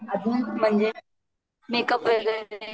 आजून म्हणजे मेकुअप वगैरे